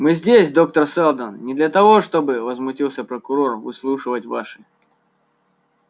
мы здесь доктор сэлдон не для того чтобы возмутился прокурор выслушивать ваши